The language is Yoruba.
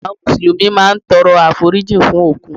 Àwọn Mùsùlùmí máa ń tọrọ àforíjìn fún òkú